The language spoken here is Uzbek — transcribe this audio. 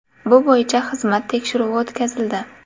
Bu bo‘yicha xizmat tekshiruvi o‘tkazildi.